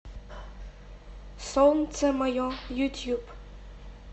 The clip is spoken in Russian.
солнце мое ютуб